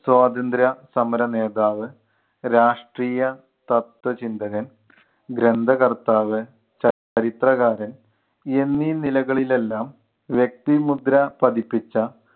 സ്വാതന്ത്ര്യ സമരനേതാവ്, രാഷ്ട്രീയ തത്വചിന്തകൻ, ഗ്രന്ഥകർത്താവ്, ചരിത്രകാരൻ എന്നീ നിലകളിൽ എല്ലാം വ്യക്തിമുദ്ര പതിപ്പിച്ച